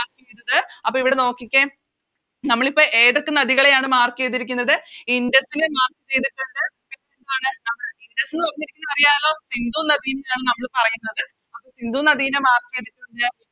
ത് അപ്പൊ ഇവിടെ നോക്കിക്കേ നമ്മളിപ്പോ ഏതൊക്കെ നദികളെയാണ് Mark ചെയ്തിരിക്കുന്നത് ഇൻഡസിനെ Mark ചെയ്തിട്ടുണ്ട് അറിയാലോ സിന്ധു നദിനെയാണ് നമ്മള് പറയുന്നത് സിന്ധു നദിനെ Mark ചെയ്തിട്ട്